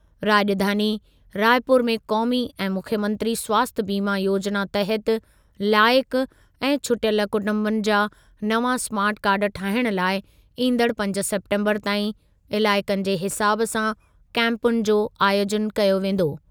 राॼधानी रायपुर में क़ौमी ऐं मुख्यमंत्री स्वास्थ्य बीमा योजिना तहति लाइक़ु ऐं छुटियल कुटुंबनि जा नवां स्मार्ट कार्ड ठाहिणु लाइ ईंदड़ु पंज सेप्टेम्बरु ताईं इलाइक़नि जे हिसाब सां कैंपुनि जो आयोजनु कयो वेंदो।